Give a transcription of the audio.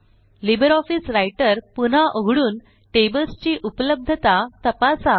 LibreOffice writer पुन्हा उघडून tables ची उपलब्धता तपासा